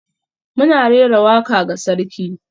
Muna rera waka ga sarki.